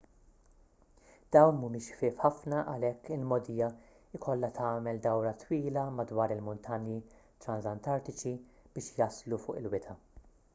dawn mhumiex ħfief ħafna għalhekk il-mogħdija jkollha tagħmel dawra twila madwar il-muntanji transantartiċi biex jaslu fuq il-wita